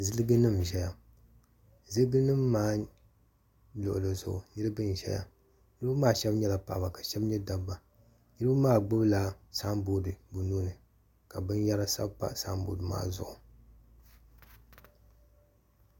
zilginim n-ʒeya zilginima maa luɣili zuɣu niriba n-ʒeya niriba maa shɛba nyɛla paɣaba ka shɛba nyɛ dabba niriba maa gbubi la samboodi bɛ nuu ni ka binyɛra sabi pa samboodi maa zuɣu.